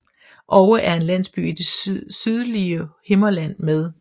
Oue er en landsby i det sydlige Himmerland med